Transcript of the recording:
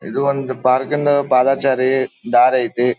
ಇದು ಒಂದು ಪಾರ್ಕಿಂದು ಪಾದಚಾರಿ ದಾರಿ ಐತಿ.